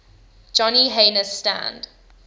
johnny haynes stand